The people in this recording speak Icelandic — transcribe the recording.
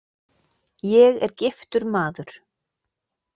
Ég er giftur maður.